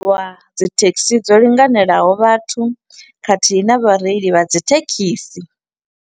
Lwa dzithekhisi dzo linganelaho vhathu khathihi na vhareili vha dzi thekhisi.